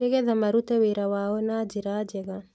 Nĩgetha marute wĩra wao na njĩra njega